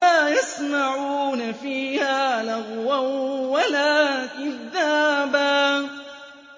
لَّا يَسْمَعُونَ فِيهَا لَغْوًا وَلَا كِذَّابًا